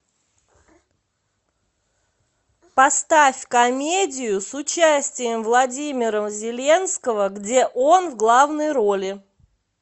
поставь комедию с участием владимира зеленского где он в главной роли